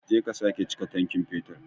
Je ka sake chika tankin fetur.